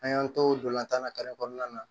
An y'an to dola tan na kɔnɔna na